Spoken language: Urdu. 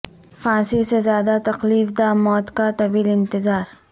پھانسی سے زیادہ تکلیف دہ موت کا طویل انتظار